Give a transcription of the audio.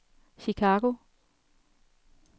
Chicago